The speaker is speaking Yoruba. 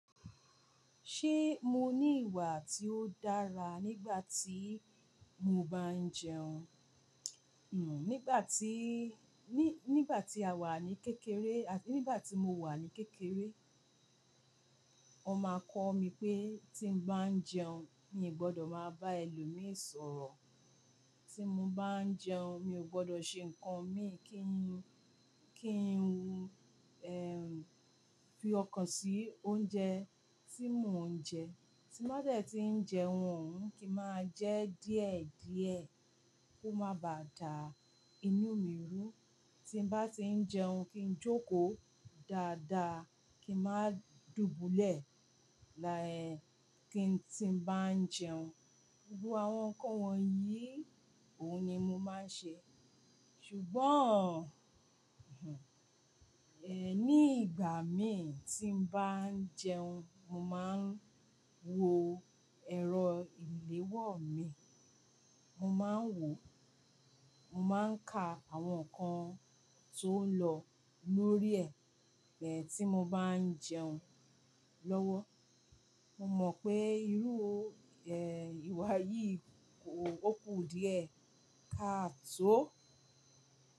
Ṣé mo ní ìwà tí ó dára nígbà tí mo bá ń jẹun? Hmm, nígbà tí, ní, nígbà tí a wà ní kékeré àt-- nígbà tí mo wà ní kékeré, ọ máa kọ́ mi pé tí mo bá ń jẹun, mi ò gbọdọ̀ máa bá ẹlòmíì sọ̀rọ̀. Tí mo bá ń jẹun, mi ò gbọdọ̀ ṣe nǹkan míì kí n, kí n wu, fi ọkàn sí oúnjẹ tí mò ń jẹ. Tí n ba de tí ń jẹun oun, kí máa jẹ díẹ̀díẹ̀ kó má baà dà inú mi rú. Tí mo bá tí ń jẹun, kí n jókòó dáadáa, kí n má dùbúlẹ̀, laẹ́n tí mo bá ń jẹun. Gbogbo àwọn ǹkan wọ̀nyí, òhun ni mo máa ń ṣe. Ṣùgbọ́n, ní ìgbà míì tí mo bá ń jẹun, mo máa ń wo ẹ̀rọ ìléwọ́ mi. Mo máa ń wò ó. Mo máa ń ka àwọn ǹkan tó ń lọ lórí ẹ̀ tí mo bá ń jẹun lọ́wọ́. Mo mọ̀ pé irú, ìwà yìí kò, ó kù díẹ̀ ká tó.